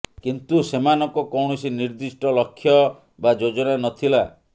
କିନ୍ତୁ ସେମାନଙ୍କ କୌଣସି ନିର୍ଦ୍ଧିଷ୍ଟ ଲକ୍ଷ୍ୟ ବା ଯୋଜନା ନଥିଲା